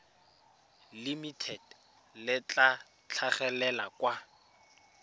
limited le tla tlhagelela kwa